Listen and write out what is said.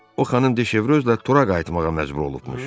O xanım Dış Evrozla Tora qayıtmağa məcbur olubmuş.